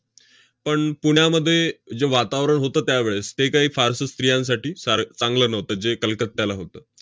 पण पुण्यामध्ये जे वातावरण होतं त्यावेळेस, ते काही फारसं स्त्रियांसाठी सार~ चांगलं नव्हतं, जे कलकत्त्याला होतं.